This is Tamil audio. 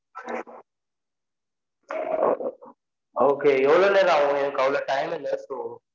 okay எவ்ளொ நேரம் ஆகும் எனக்கு அவ்ளொ time இல்ல so இப்போ